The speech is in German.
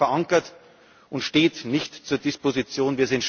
Es ist dort verankert und steht nicht zur Disposition.